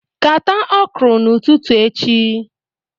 Kata okro ututu echi